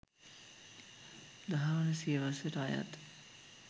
දහවන සියවසට අයත්